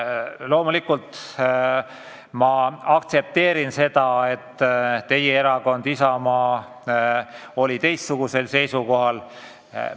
Loomulikult ma aktsepteerin seda, et teie erakond Isamaa oli teistsugusel seisukohal.